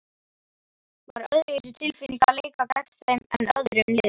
Var öðruvísi tilfinning að leika gegn þeim en öðrum liðum?